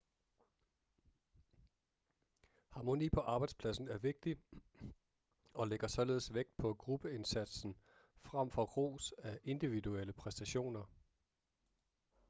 harmoni på arbejdspladsen er vigtig og lægger således vægt på gruppeindsatsen frem for ros af individuelle præstationer